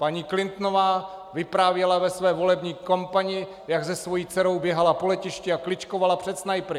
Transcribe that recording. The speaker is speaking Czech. Paní Clintonová vyprávěla ve své volební kampani, jak se svou dcerou běhala po letišti a kličkovala před snajpry.